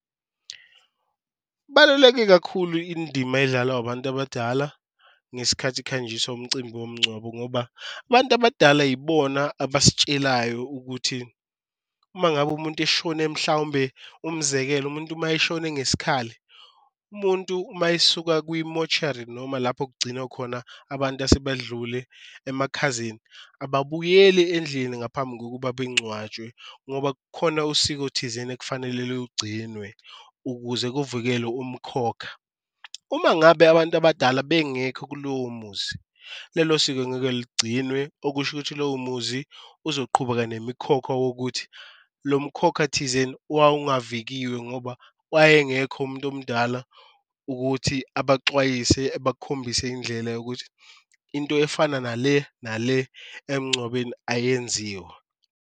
Baluleke kakhulu indima edlalwa abantu abadala ngesikhathi kuhanjiswa umcimbi womncwabo ngoba abantu abadala ibona abasitshelayo ukuthi uma ngabe umuntu eshone mhlawumbe, umzekelo. Umuntu uma eshone ngesikhathi umuntu uma esuka kwimoshari noma lapho okugcinwa khona abantu asebadlule emakhazeni, ababuyeli endlini ngaphambi kokuba bengcwatshwe ngoba kukhona usiko thizeni ekufanele lugcinwe ukuze kuvikelwe umkhokha. Uma ngabe abantu abadala bengekho kulowo muzi lelo siko angeke ligciniwe, okusho ukuthi kulowo muzi uzoqhubeka nemikhokha wokuthi lo mkhokha thizeni owawungavikiwe ngoba wayengekho umuntu omdala ukuthi ebaxwayise, ebakhombise indlela yokuthi into efana nale nale emncwabeni ayenziwa.